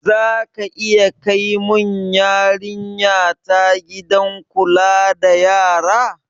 Zaka iya kai mun yarinya ta gidan kula da yara?